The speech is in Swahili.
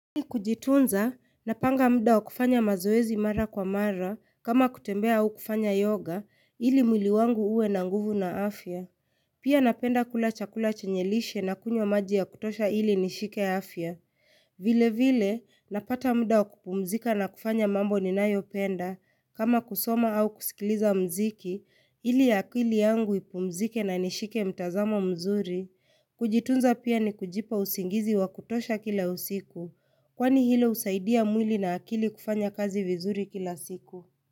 Kujitunza, napanga muda wa kufanya mazoezi mara kwa mara, kama kutembea au kufanya yoga, ili mwili wangu uwe na nguvu na afya. Pia napenda kula chakula chenye lishe na kunywa maji ya kutosha ili nishike afya. Vile vile, napata muda wa kupumzika na kufanya mambo ninayopenda, kama kusoma au kusikiliza muziki, ili akili yangu ipumzike na nishike mtazamo mzuri. Kujitunza pia ni kujipa usingizi wa kutosha kila usiku. Kwani hilo husaidia mwili na akili kufanya kazi vizuri kila siku?